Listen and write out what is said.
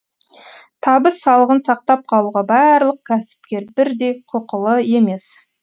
табыс салығын сақтап қалуға барлық кәсіпкер бірдей құқылы емес